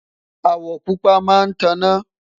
awo pupa má tá na